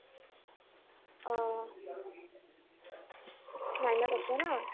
অ । nine ত আছে ন ?